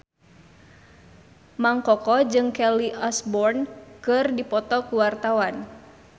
Mang Koko jeung Kelly Osbourne keur dipoto ku wartawan